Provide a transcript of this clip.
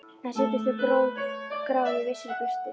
En sýndust þó grá í vissri birtu.